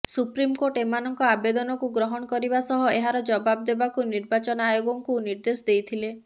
supreme court ଏମାନଙ୍କ ଆବେଦନକୁ ଗ୍ରହଣ କରିବା ସହ ଏହାର ଜବାବ ଦେବାକୁ ନିର୍ବାଚନ ଆୟୋଗଙ୍କୁ ନିର୍ଦ୍ଦେଶ ଦେଇଥିଲେ